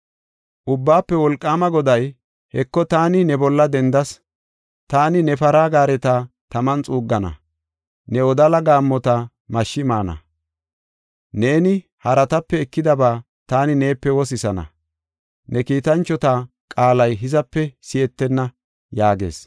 Ubbaafe Wolqaama Goday, “Heko, taani ne bolla dendas! Taani ne para gaareta taman xuuggana; ne wodala gaammota mashshi maana. Neeni haratape ekidaba taani neepe wosisana; ne kiitanchota qaalay hizape si7etenna” yaagees.